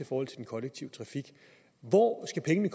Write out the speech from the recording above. forhold til den kollektive trafik hvor skal pengene